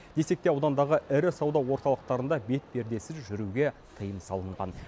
десек те аудандағы ірі сауда орталықтарында бетпердесіз жүруге тыйым салынған